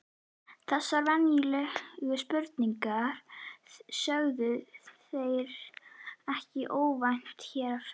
Þessar venjulegu spurningar sögðu þeir, ekkert óvænt hér á ferð